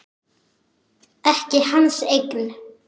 Ekki hans eigin.